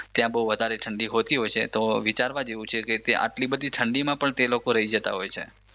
ત્યાં બહુ વધારે ઠંડી હોતી હોય છે તો વિચારવા જેવુ છે કે તે આટલી બધી ઠંડીમાં પણ તે લોકો રહી જતાં હોય છે